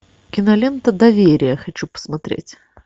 кинолента доверие хочу посмотреть